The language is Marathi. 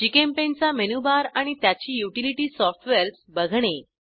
GchemPaintचा मेनूबार आणि त्याची युटिलिटी सॉफ्टवेअर्स बघणे